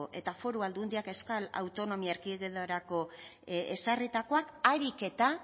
eta foru aldundiak euskal autonomia erkidegorako ezarritakoak ahalik eta